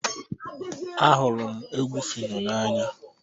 Ahụrụ m egwu phyno n'anya